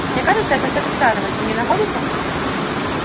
мне кажется это стоит отпраздновать вы не находите